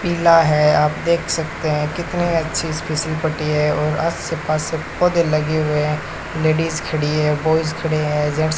पीला है आप देख सकते है कितनी अच्छी फिसलपट्टी है और आस पास पौधे लगे हुए है लेडिस खड़ी है बॉयस खड़े है जेंट्स --